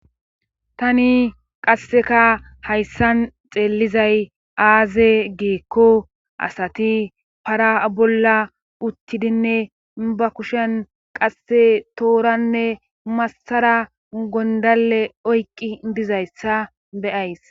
tani qasseka hayssan xeellizay aaze geekko asati para bolla uttidinne ba kushen qasse tooranne massara gondale oyqqi dizayssa beyays